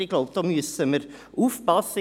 Ich glaube, da müssen wir aufpassen.